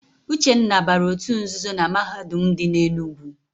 Uchenna bara òtù nzuzo na Mahadum dị n'Enugwu.